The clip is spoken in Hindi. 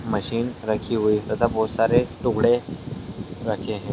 मशीन रखी हुई है तथा बहुत सारे टुकड़े रखे हैं।